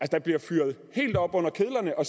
der bliver fyret helt op under kedlerne og